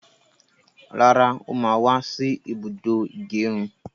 Rárá, ó má wá sí ibùdó ìgẹrun